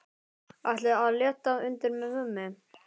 Ætli að létta undir með mömmu.